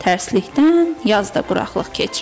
Tərsliyin, yaz da quraqlıq keçir.